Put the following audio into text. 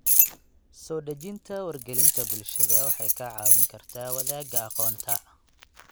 Soo dhejinta wargelinta bulshada waxay kaa caawin kartaa wadaagga aqoonta.